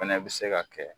Fɛnɛ bɛ se ka kɛ